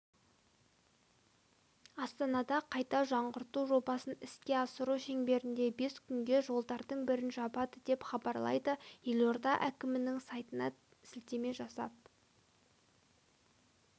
астанада қайта жаңғарту жобасын іске асыру шеңберінде бес күнге жолдардың бірін жабады деп хабарлайды елода әкімінің сайтына сілтеме жасап